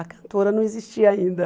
A cantora não existia ainda.